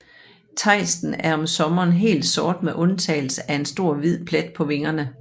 Tejsten er om sommeren helt sort med undtagelse af en stor hvid plet på vingerne